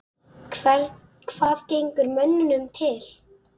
Hvað gengur mönnum til?